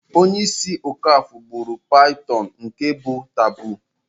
Onye isi okafor gburu python nke bu taboo.